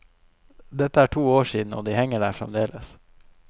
Dette er to år siden, og de henger der fremdeles.